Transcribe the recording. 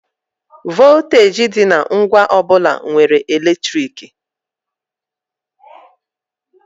Vọlteeji dị na ngwa ọ bụla nwere eletriki.